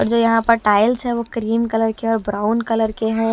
और जो यहां पर टाइल्स है वो क्रीम कलर के और ब्राउन कलर के हैं।